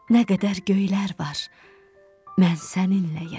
Nə qədər göylər var, mən səninləyəm.